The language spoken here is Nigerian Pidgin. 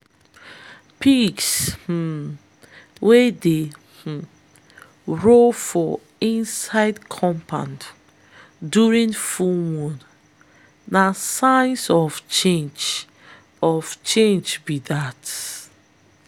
pigs um wey dey um roll for inside compound during full moon na sign of change of change be dat.